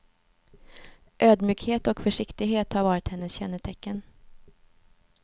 Ödmjukhet och försiktighet har varit hennes kännetecken.